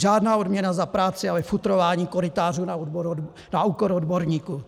Žádná odměna za práci, ale futrování korytářů na úkor odborníků.